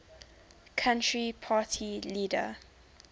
country party leader